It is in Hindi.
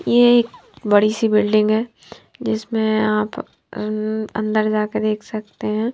ये एक बड़ी सी बिल्डिंग है। जिसमें आप अंदर जाकर देख सकते है।